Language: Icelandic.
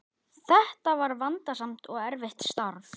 Þetta var vandasamt og erfitt starf.